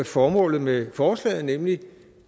formålet med forslaget nemlig